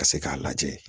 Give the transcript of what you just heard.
Ka se k'a lajɛ